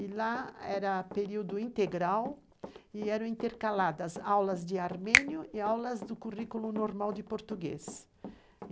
e lá era período integral, e eram intercaladas aulas de armênio e aulas do currículo normal de português.